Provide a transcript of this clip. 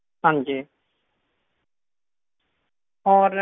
ਹਾਂਜੀ ਹੋਰ